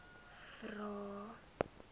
vvvvrae